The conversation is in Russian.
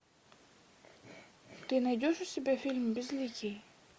ты найдешь у себя фильм безликий